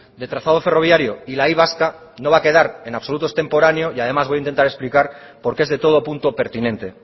de trazado ferroviario y la y vasca no va a quedar en absoluto extemporáneo y además voy a intentar explicar porque es de todo punto pertinente